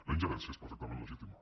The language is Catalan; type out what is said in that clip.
la ingerència és perfectament legítima